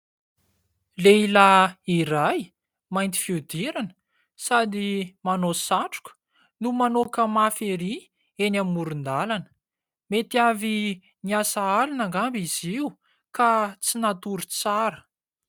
Lehilahy iray mainty fihodirana, sady manao satroka no manoaka mafy erỳ, eny amoron-dalana. Mety avy niasa alina angamba izy io ka tsy natory tsara.